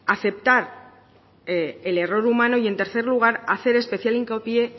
aceptar el error humano y en tercer lugar hacer especial hincapié